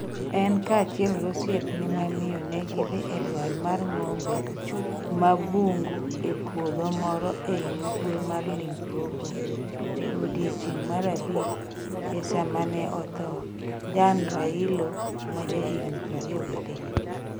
En kaachiel gi osiepne ma miyo ne gidhi e dwar mar ng'ombe ma bungu e puoth moro ei ugwe mar Limpopo, e odiechieng' mar abich, e sama ne otho Jan Railo ma jahigni 23.